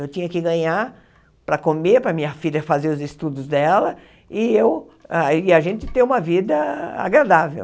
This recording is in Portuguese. Eu tinha que ganhar para comer, para minha filha fazer os estudos dela e eu e a gente ter uma vida agradável.